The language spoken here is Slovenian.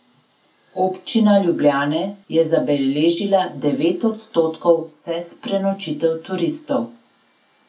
Občina Ljubljana je zabeležila devet odstotkov vseh prenočitev turistov.